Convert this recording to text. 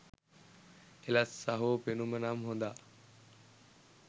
එලස් සහෝ පෙනුම නම් හොදා